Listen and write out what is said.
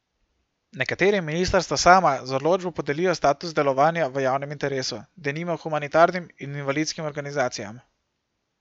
Nekaterim ministrstva sama z odločbo podelijo status delovanja v javnem interesu, denimo humanitarnim in invalidskim organizacijam.